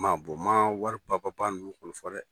Ma ma wari ninnu kɔni fɔ dɛ.